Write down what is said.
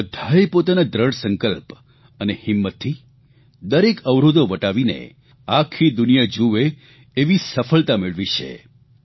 આ બધાએ પોતાના દ્રઢ સંકલ્પ અને હિંમતથી દરેક અવરોધો વટાવીને આખી દુનિયા જુવે એવી સફળતા મેળવી છે